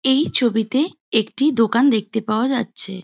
এই ছবিতে একটি দোকান দেখতে পাওয়া যাচ্ছে।